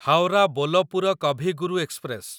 Howrah Bolpur Kavi Guru express